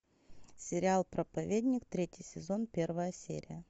сериал проповедник третий сезон первая серия